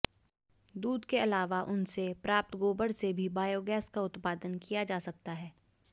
दूध के आलावा उनसे प्राप्त गोबर से भी बायोगैस का उत्पादन किया जा सकता है